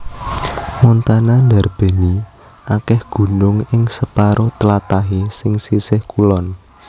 Montana ndarbèni akèh gunung ing separo tlatahé sing sisih kulon